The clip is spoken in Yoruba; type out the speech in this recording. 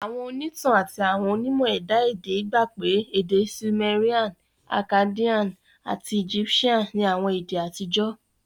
Àwọn ònítàn àti àwọn onímọ̀ ẹ̀dá èdè gba pé pé Seumerian, Akkadian ati Egyptian ni àwọn èdè àtijọ́